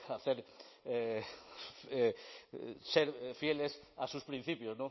ser fieles a sus principios